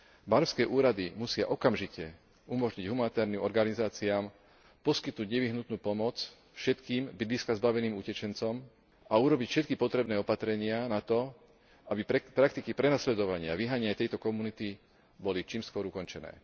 Barmské úrady musia okamžite umožniť humanitárnym organizáciám poskytnúť nevyhnutnú pomoc všetkým bydliska zbaveným utečencom a urobiť všetky potrebné opatrenia na to, aby praktiky prenasledovania a vyháňania tejto komunity boli čím skôr ukončené.